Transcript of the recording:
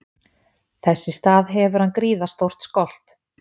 Þess í stað hefur hann gríðarstóran skolt.